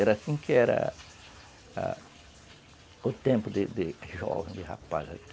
Era assim que era a, o tempo de jovem, de rapaz aqui.